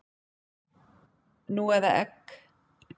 Nú eða egg?